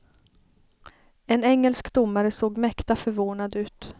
En engelsk domare såg mäkta förvånad ut.